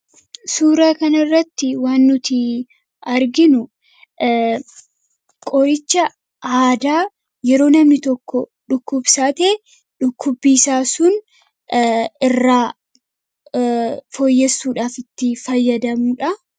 suuraa kanairratti waan nuti arginu qoricha aadaa yeroo namni tokko dhukkubsaatee dhukkubbi isaa sun irraa fooyyessuudhaaf itti fayyadamuudha